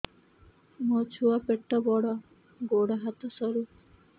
ମୋ ଛୁଆ ପେଟ ବଡ଼ ଗୋଡ଼ ହାତ ସରୁ